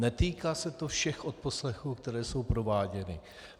Netýká se to všech odposlechů, které jsou prováděny.